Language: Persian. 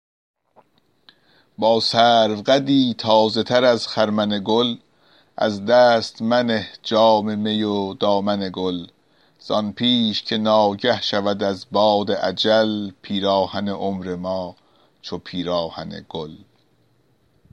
با سرو قدی تازه تر از خرمن گل از دست منه جام می و دامن گل زان پیش که ناگه شود از باد اجل پیراهن عمر ما چو پیراهن گل